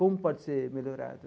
Como pode ser melhorado?